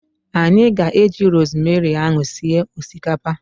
Anyị ga-eji rosemary ahu sie osikapa